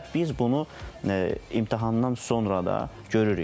Və biz bunu imtahandan sonra da görürük.